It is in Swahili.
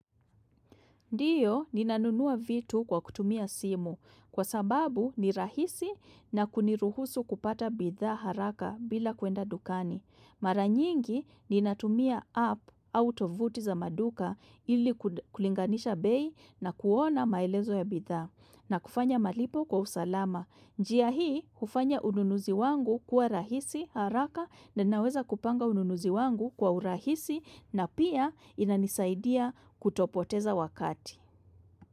Ndiyo ninanunua vitu kwa kutumia simu kwa sababu ni rahisi na kuniruhusu kupata bidha haraka bila kuenda dukani. Maranyingi ninatumia app au tovuti za maduka ili kulinganisha bei na kuona maelezo ya bidha na kufanya malipo kwa usalama. Njia hii ufanya ununuzi wangu kwa rahisi haraka na naweza kupanga ununuzi wangu kwa urahisi na pia inanisaidia kutopoteza wakati.